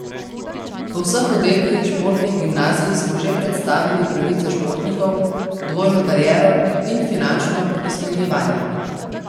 Po vseh oddelkih športnih gimnazij smo že predstavili pravice športnikov, dvojno kariero in finančno opismenjevanje.